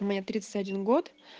мне тридцать один год